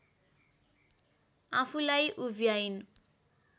आफूलाई उभ्याइन्